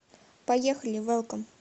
поехали вэлком